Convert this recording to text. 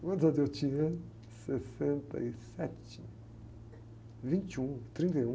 Quantos anos eu tinha? Em sessenta e sete, vinte e um, trinta e um.